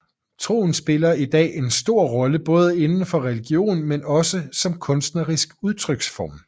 Troen spiller i dag en stor rolle både indenfor religion men også som kunstnerisk udtryksform